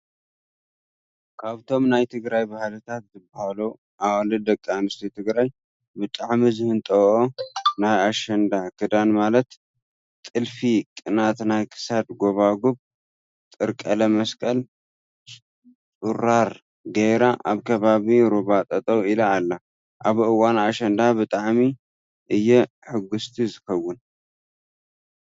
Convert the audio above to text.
ካብቶም ናይ ትግራይ ባህልታት ዝብሃሉ ኣዋልድ ደቂ ኣንትስትዮ ትግራይ ብጣዕሚ ዝህጠወኦ ናይ ኣሸንዳ ክዳን ማለት፣ ጥልፊቅናት ናይ ክሳድ ጎባጉብ፣ ጥር ቀለም መስቀል፣ ፅሩራ ገይራ ኣብ ከባቢ ሩባ ጠጠው ኢላ ኣላ። ኣብ እዋን ኣሸንዳ ብጣዕሚ እየ ሕጉስቲ ዝከውን።